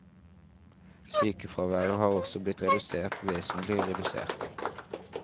Sykefraværet har også blitt redusert vesentlig redusert.